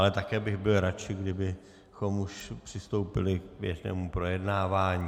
Ale také bych byl radši, kdybychom už přistoupili k běžnému projednávání.